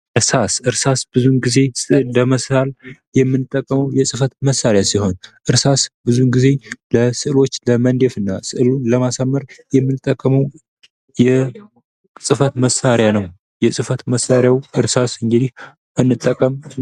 እርሳስ ብዙን ጊዜ ስዕል ለመሳል የምንጠቀመው የጽህፈት መሳሪያ ሲሆን እርሳስ ብዙ ጊዜ ስዕሎችን ለመንደፍና ስዕሉን ለማሳመር የምንጠቀመው የጽህፈት መሣሪያ ነው። የጽህፈት መሳሪያውን እርሳስ እንጠቀም።